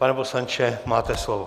Pane poslanče, máte slovo.